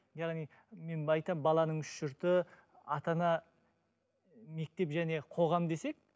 яғни мен айтамын баланың үш жұрты ата ана мектеп және қоғам десек